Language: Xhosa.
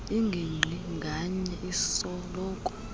ingingqi nganye isoloko